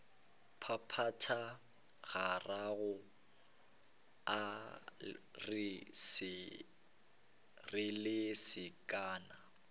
phaphatha gararo a re lesekana